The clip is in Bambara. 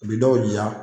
U bi dɔw jira